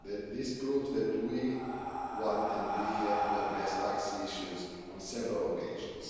This proves that we want, and we have to address tax issues on several occasions.